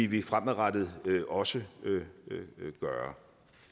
vi fremadrettet også gøre